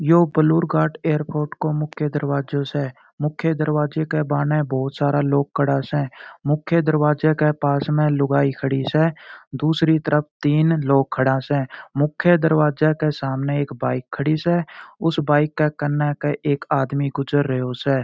यो पलोरकार्ट एयरपोर्ट को मुख्य दरवाजो स मुख्या दरवाजे के बहाने बहुत सारा लोग खड़ा स मुख्या दरवाजे के पास में लुगाई खड़ी स दूसरी तरफ तीन लोग खड़ा से मुख्या दरवाजे के सामने एक बाइक खड़ी स उस बाइक के कन्ने के एक आदमी गुजर रैयो स।